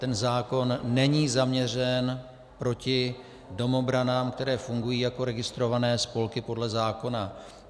Ten zákon není zaměřen proti domobranám, které fungují jako registrované spolky podle zákona.